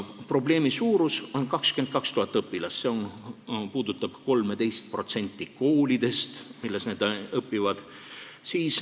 Probleemi suurus on 22 000 õpilast ja see puudutab 13% koolidest, nendes koolides nad õpivad.